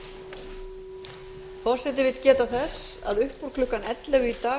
forseti vill geta þess að upp úr klukkan ellefu í dag